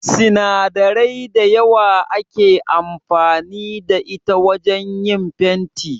Sinadarai da yawa ake amfani da ita wajan yin fenti